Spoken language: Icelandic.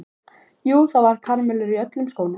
Jú, það voru karamellur í öllum skónum.